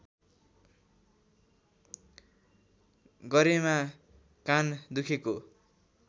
गरेमा कान दुखेको